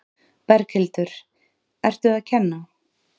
Berghildur: Ertu að kenna?